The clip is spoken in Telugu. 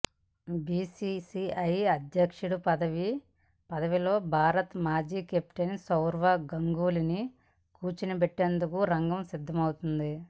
బీసీసీఐ అధ్యక్ష పదవిలో భారత మాజీ కెప్టెన్ సౌరవ్ గంగూలీని కూర్చోబెట్టేందుకు రంగం సిద్ధమైంది